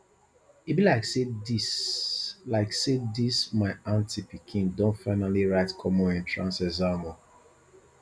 e be like say dis like say dis my aunty pikin don finally write common entrance exam o